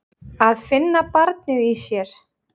Að finna barnið í sér.